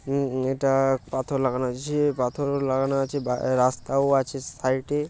উম উম এটা পাথর লাগানো হয়েছে পাথর লাগানো আছে বা রাস্তাও আছে সাইড এ।